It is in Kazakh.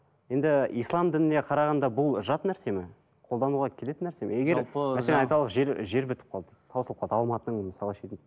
енді ислам дініне қарағанда бұл жат нәрсе ме қолдануға келетін нәрсе ме егер мәселен айталық жер жер бітіп қалды таусылып қалды алматының мысалы шетін